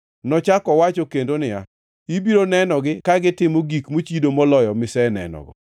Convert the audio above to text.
Nochako owacho kendo niya, “Ibiro nenogi ka gitimo gik mochido moloyo misenenogo.”